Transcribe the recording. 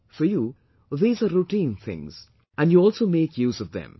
For you these are routine things and you also make use of them